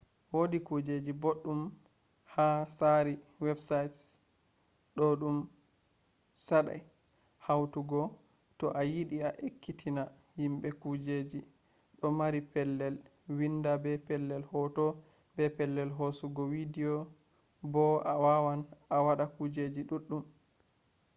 wodi kujeji boɗɗum ha tsari websaits ɗo ɗum saɗai hautugo to a yiɗi a ekkitina himɓe kujeji ɗo mari pellel windi be pellel hoto be pellel hosugo widiyo bo a wawan a waɗa kujeji ɗuɗɗum